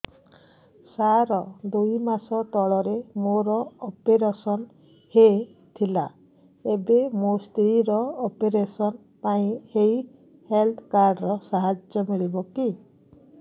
ସାର ଦୁଇ ମାସ ତଳରେ ମୋର ଅପେରସନ ହୈ ଥିଲା ଏବେ ମୋ ସ୍ତ୍ରୀ ର ଅପେରସନ ପାଇଁ ଏହି ହେଲ୍ଥ କାର୍ଡ ର ସାହାଯ୍ୟ ମିଳିବ କି